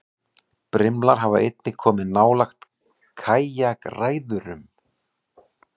Brimlar hafa einnig komið nálægt kajakræðurum.